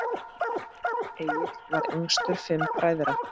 Egill var yngstur fimm bræðra.